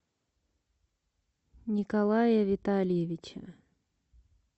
николая витальевича